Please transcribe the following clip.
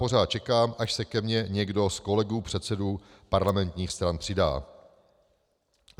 Pořád čekám, až se ke mně někdo z kolegů předsedů parlamentních stran přidá.